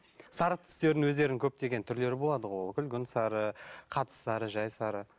сары түстердің өздерінің көптеген түрлері болады ғой ол күлгін сары қатты сары жай сары